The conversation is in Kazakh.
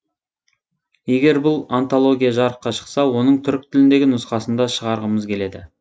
егер бұл антология жарыққа шықса оның түрік тіліндегі нұсқасын да шығарғымыз келеді